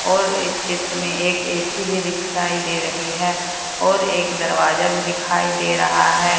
और इस चित्र में एक ऐ_सी भी दिखाई दे रही है और एक दरवाजा भी दिखाई दे रहा है।